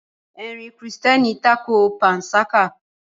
Ẹ̀sìn kírísítẹ́nì tako panṣágà.